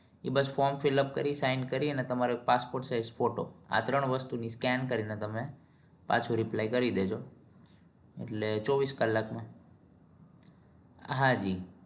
bus from fillup કરી sign ન કરી અને તમારો એક passport size ફોટો આ ત્રણ વસ્તુ ની સ્કેન કરી ને તમે પાછો riplay કરી દેજો એટલે ચોવીસ કલાક માં હાંજી